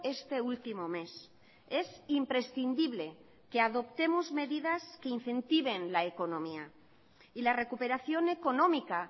este último mes es imprescindible que adoptemos medidas que incentiven la economía y la recuperación económica